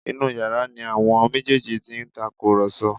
Inú yàrá ni àwọn méjèèjì ti ń tàkùrọ̀sọ